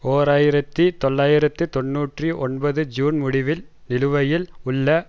ஓர் ஆயிரத்தி தொள்ளாயிரத்து தொன்னூற்றி ஒன்பது ஜூன் முடிவில் நிலுவையில் உள்ள